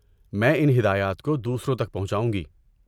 میں ان ہدایات کو دوسروں تک پہنچاؤں گی۔